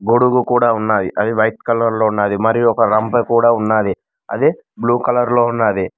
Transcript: గొడుగు కూడా ఉన్నాయి అవి వైట్ కలర్ లో ఉన్నాది మరియు ఒక రంపె కూడా ఉన్నాది అది బ్లూ కలర్ లో ఉన్నాది.